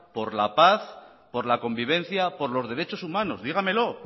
por la paz por la convivencia por los derechos humanos dígamelo